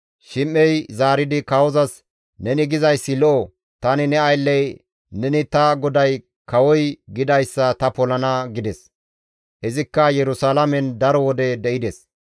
Shim7ey zaaridi kawozas, «Neni gizayssi lo7o; tani ne aylley neni ta goday kawoy gidayssa ta polana» gides. Izikka Yerusalaamen daro wode de7ides.